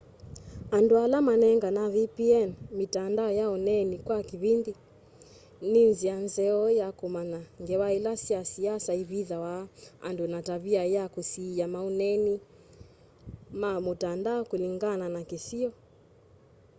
andũ ala manenganaa vpn mitandao ya ũneenĩ kwa kĩmbĩthĩ nĩ nzĩa nzeo ya kũmanya ngewa ila sya siasa ivithawa andũ na tavia ya kũsiĩa maũneenĩ ma mũtandao kũlĩngana na kĩsio